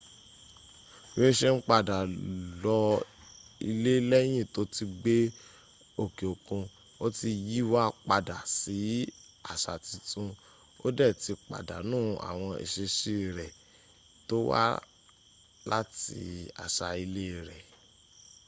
bi o se n pada lo ile leyin to ti gbe oke okun o ti yiwa pada si asa titun o de ti padanu awon isesi re to wa lati asa ile re